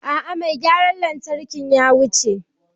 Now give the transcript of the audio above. Aa mai gyaran lantarkin ya wuce.